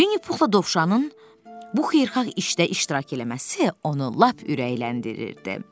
Winnie Puhla Dovşanın bu xeyirxah işdə iştirak eləməsi onu lap ürəkləndirirdi.